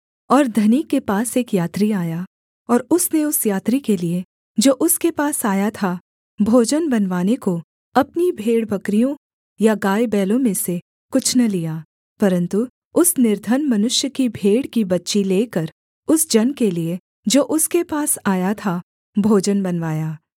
और धनी के पास एक यात्री आया और उसने उस यात्री के लिये जो उसके पास आया था भोजन बनवाने को अपनी भेड़बकरियों या गाय बैलों में से कुछ न लिया परन्तु उस निर्धन मनुष्य की भेड़ की बच्ची लेकर उस जन के लिये जो उसके पास आया था भोजन बनवाया